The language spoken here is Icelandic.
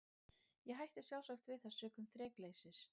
Ég hætti sjálfsagt við það sökum þrekleysis.